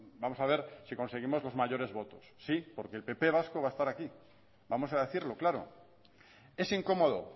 vamos a ver si conseguimos los mayores votos sí porque el pp vasco va a estar aquí vamos a decirlo claro es incómodo